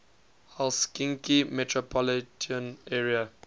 helsinki metropolitan area